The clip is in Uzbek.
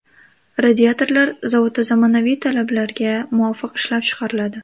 Radiatorlar zavodda zamonaviy talablarga muvofiq ishlab chiqariladi.